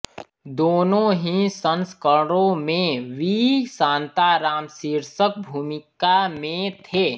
दोनों ही संस्करणों में वी शांताराम शीर्षक भूमिका में थे